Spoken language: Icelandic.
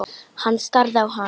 Hann starði á hana.